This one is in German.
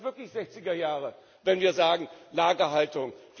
Das ist wirklich sechziger Jahre, wenn wir sagen Lagerhaltung.